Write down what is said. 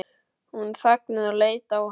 Hún þagnaði og leit á hann.